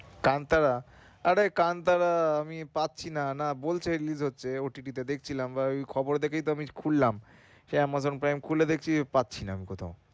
কান্তারা আরে কান্তারা আমি পাচ্ছি না না বলছে release হচ্ছে OTT টা দেখছিলাম বা ওই খবর দেখেই তো আমি খুললাম Amazon prime খুলে দেখি পাচ্ছি না আমি কোথাও।